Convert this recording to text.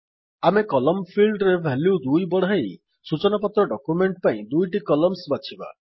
ଆମେ column field ର value 2 ବଢାଇ ସୂଚନାପତ୍ର ଡକ୍ୟୁମେଣ୍ଟ୍ ପାଇଁ ଦୁଇଟି କଲମ୍ସ୍ ବାଛିବା